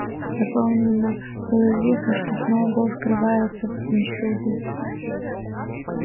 доподлинно было известно что сноуболл скрывается в пинчфилде